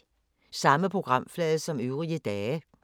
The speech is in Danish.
Samme programflade som øvrige dage